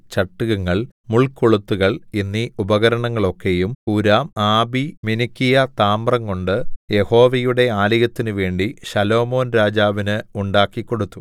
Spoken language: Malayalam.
ചട്ടുകങ്ങൾ മുൾക്കൊളുത്തുകൾ എന്നീ ഉപകരണങ്ങളൊക്കെയും ഹൂരാംആബി മിനുക്കിയ താമ്രംകൊണ്ട് യഹോവയുടെ ആലയത്തിനുവേണ്ടി ശലോമോൻ രാജാവിന് ഉണ്ടാക്കിക്കൊടുത്തു